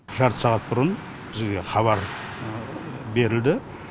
жарты сағат бұрын бізге хабар берілді